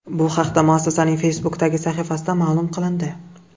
Bu haqda muassasaning Facebook’dagi sahifasida ma’lum qilindi .